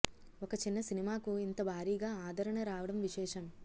ఒక చిన్న సినిమాకు ఇంత భారీగా ఆదరణ రావడం విశేషం